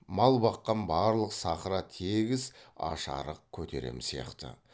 мал баққан барлық сахра тегіс аш арық көтерем сияқты